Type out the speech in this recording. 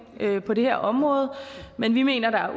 på det her område men vi mener der